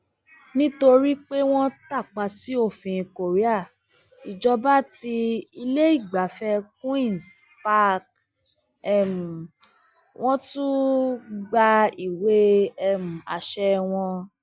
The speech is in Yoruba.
nítorí pé wọn tàpá sí òfin korea ìjọba ti iléìgbafẹ queens park um wọn tún gba ìwé um àṣẹ wọn